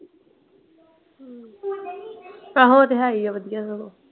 ਆਹੋ ਉਹ ਤੇ ਹੈ ਹੀ ਆ ਵਧੀਆ ਸਗੋਂ।